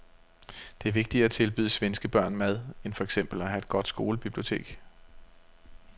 Det er vigtigere at tilbyde svenske børn mad end for eksempel at have et godt skolebibliotek.